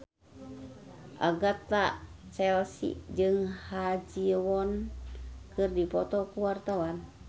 Agatha Chelsea jeung Ha Ji Won keur dipoto ku wartawan